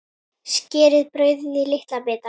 Skerið brauðið í litla bita.